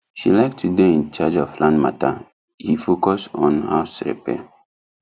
she like to dey in charge of land matter he focus on house repair